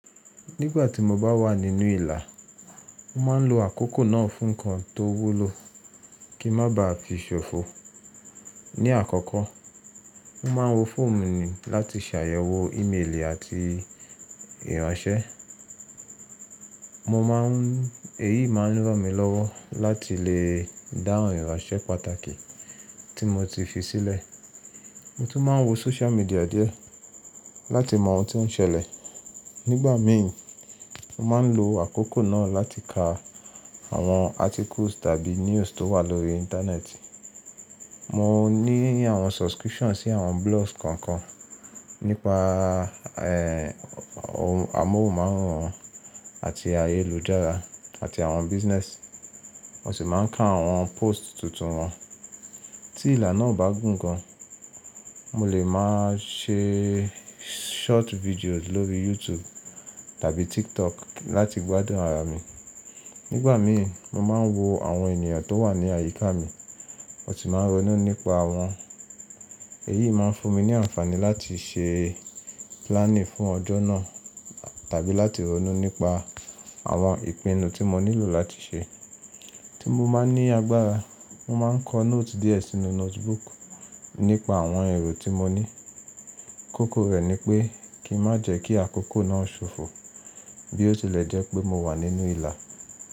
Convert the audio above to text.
Nígbà tí mo bá wà nínú ìlà, mo máa ń lo àkókò náà fún nǹkan tó wúlò kí n má ba à fi ṣòfò. Ni àkọ́kọ́, mo máa ń wo fóònù mi láti ṣàyẹ̀wò ímeèlì àti ìránṣẹ́. Mo má ń èyí máa ń ran mi lọ́wọ́ láti lè dáhùn ìránṣẹ́ pàtàkì tí mo ti fi sílẹ̀. Mo tún máa ń wo social media díẹ̀ láti mọ ohun tí ó ń ṣẹlẹ̀. Nígbà mi, mo máa ń lo àkókò náà láti ka àwọn articles tàbí news tó wà lórí Internet. Mo ní àwọn subscriptions sí àwọn blogs kan kan nípa a, ẹ́hn, amóhùnmáwòrán àti ayélujára àti àwọn business. Mo sì máa ń ka àwọn posts tuntun wọn. Tí ìlà náà o bá gùn gan, mo lè máa ṣe short videos lórí YouTube tàbí TikTok láti gbádùn ara mi. Nígbà mi ì, mo máa ń wo àwọn ènìyàn tó wà ní àyíká mi, mo sì máa ń ronú nípa wọn. Èyí máa ń fún mi ní àǹfààní láti ṣe planning fún ọjọ́ náà tàbí láti ronú nípa àwọn ìpinnu tí mo nílò láti ṣe. Tí mo má n ní agbára, mo máa ń kọ note díẹ̀ sínú notebook nípa àwọn èrò tí mo ní. Kókó rẹ̀ ni pé kí n má jẹ́ kí àkókò náà ṣòfò bí ó tilẹ̀ jẹ́ pé mo wà nínú ìlà.